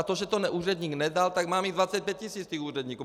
A to, že to úředník nedal, tak mám jich 25 tis., těch úředníků!